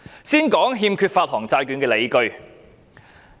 先說說欠缺發行債券的理據。